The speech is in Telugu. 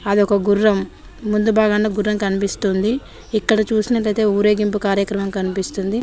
అదొక గుర్రం ముందుభాగాన గుర్రం కనిపిస్తుంది ఇక్కడ చూసినట్లయితే ఊరేగింపు కార్యక్రమం కనిపిస్తుంది.